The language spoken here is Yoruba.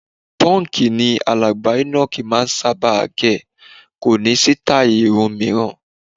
Pọ́ǹkì ni alàgbà Enoch máà ń sábà gẹ̀, kò ní sítáì irun mìíràn.